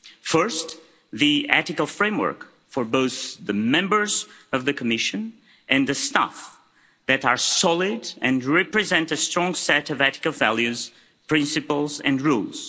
First, the ethical frameworks for both the Members of the Commission and the staff that are solid and represent a strong set of ethical values, principles and rules.